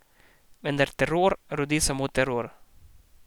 Vendar teror rodi samo teror.